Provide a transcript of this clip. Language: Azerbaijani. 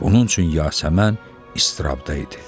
Bunun üçün Yasəmən iztirabda idi.